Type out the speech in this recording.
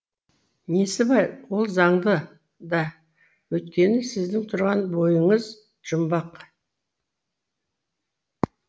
несі бар ол заңды да өйткені сіздің тұрған бойыңыз жұмбақ